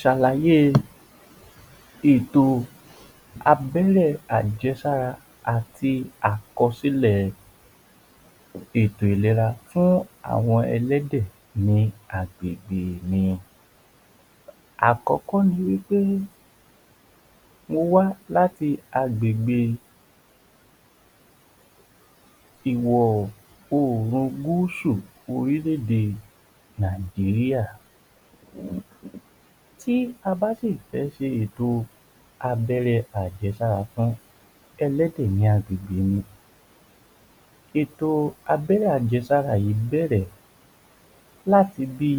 Ṣàlàyé èto abẹ́rẹ́ àjẹ́sára àti àkọsílẹ̀ ètò ìléra fún àwọn ẹlẹ́dẹ̀ ni agbègbè ni, àkọ́kọ́ ni wí pé mo wá láti agbègbè iwọ̀ oòrùn gúúsù orílé-ède. Tí a bá sì fẹ́ ṣe ètò abẹ́rẹ́ àjẹ́sára fún ẹlẹ́dẹ̀ ní agbègbè ni ètò abẹ́rẹ́ àjẹ́sára yíì bẹ̀rẹ̀ láti bí